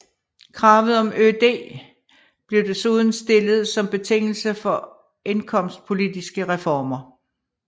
Kravet om ØD blev desuden stillet som betingelse for indkomstpolitiske reformer